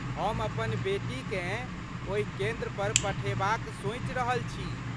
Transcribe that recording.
हम अपन बेटीकेँ ओहि केन्द्रपर पठेबाक सोचि रहल छी।